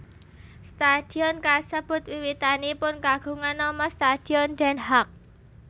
Stadion kasebut wiwitanipun kagungan nama Stadion Den Haag